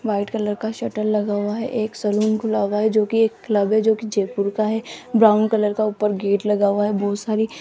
white colour का shutter लगा हुआ है एक सैलून खुला हुआ है जो कि एक क्लब है जो कि जयपुर का है ब्राउन कलर का ऊपर गेट लगा हुआ है बहुत सारी --